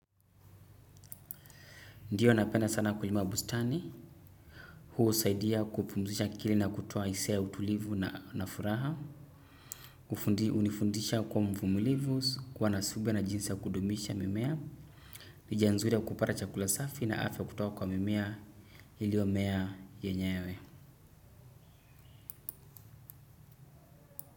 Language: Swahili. Ndiyo napenda sana kulima bustani, huu husaidia kupumzisha akili na kutoa hisia ya utulivu na furaha, hunifundisha kuwa mvumulivu, kuwa na subira na jinsi ya kudumisha mimea, ni njia nzuri ya kupata chakula safi na afya kutoka kwa mimea iliyomea yenyewe.